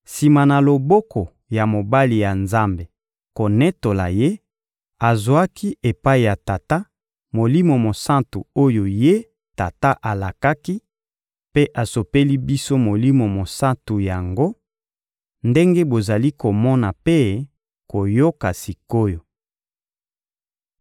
Sima na loboko ya mobali ya Nzambe konetola Ye, azwaki epai ya Tata, Molimo Mosantu oyo Ye Tata alakaki, mpe asopeli biso Molimo Mosantu yango ndenge bozali komona mpe koyoka sik’oyo.